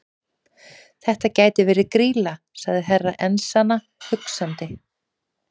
Þetta gæti verið Grýla, sagði Herra Enzana hugsandi.